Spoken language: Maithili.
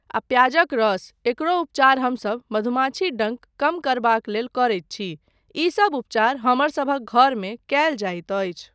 आ प्याजक रस, एकरो उपचार हमसब मधुमक्खी डङ्क कम करबाक लेल करैत छी। ईसब उपचार हमरसभक घरमे कयल जाइत अछि।